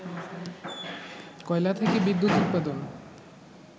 কয়লা থেকে বিদ্যুৎ উৎপাদন